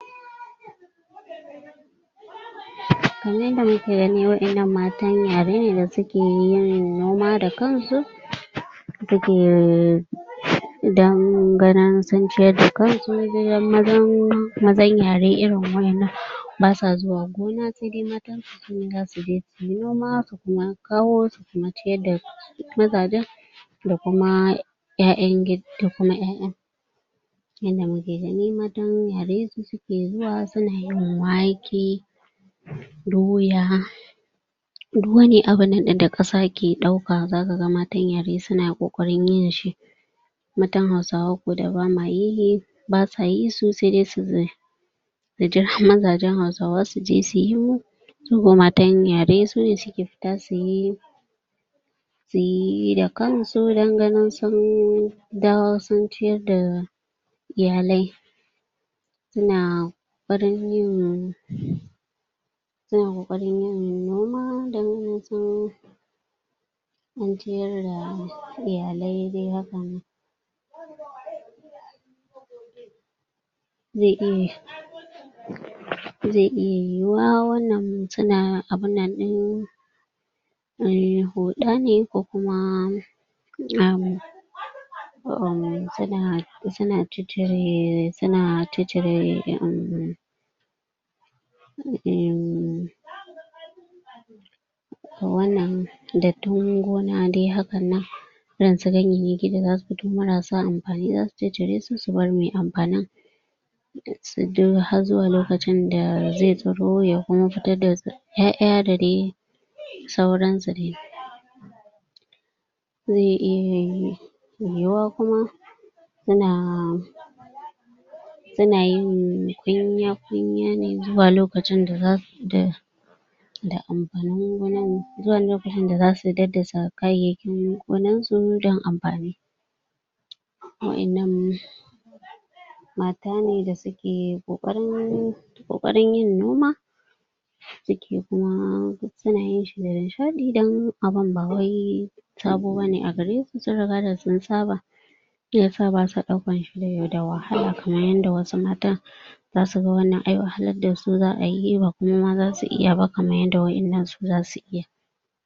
Kamar yadda muke gani wa'innan matan yare ne da suke yin noma da kansu suke on ganin sun ciyar da kansu mazan yare irin wa'innan basa zuwa gona sai dai matan sune zasu je suyi noma su kuma kawo su kuma ciyar da mazajen da kuma ƴaƴa yanda muke gani matan yaren su suke zuwa suna yin wake doya duk wani abunda ƙasa ke ɗauka zaka ga matan yaren suna ƙoƙarin yinshi matan hausawa ko da ba ma yi basa yi su sai dai su jira mazajen hausawa suje su yo kun ga matan yare sune suke fita suyi suyi da kansu don ganin sun dawo sun ciyar da iyalai suna ƙoƙarin yin suna ƙoƙarin yin ciyar da iyalai dai haka? zai iya yiwuwa suna abunnan ɗin? huɗa ne ko kuma um um suna suna ciccire um um wannan dattin gona dai hakan nan irin su ganyayyaki da zasu fito marasa amfani zasu ciccire su su bar mai amfanin har zuwa lokacin da zai tsiro ya kuma fitar da ƴaƴa da dai sauransu dai zai iya yiwuwa kuma suna suna yin kunya kunya ne zuwa lokacin da zasu da da amfanin gona zuwa lokacin da zasu daddasa kayyaykin gonansu don amfani wa'innan mata ne da suke ƙoƙarin yin noma suke kuma suna yin shi da nishaɗi don abun ba wai sabo bane a garesu sun riga da sun saba Shiyasa ba sa ɗaukan shi da wahala kamar yadda wasu matan zasu ga wannan ai wahalar dasu za a yi ba kuma zasu iya ba kaman yadda wa'innan su zasu iya.